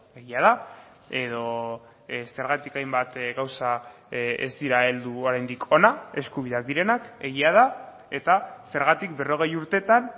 egia da edo zergatik hainbat gauza ez dira heldu oraindik hona eskubideak direnak egia da eta zergatik berrogei urtetan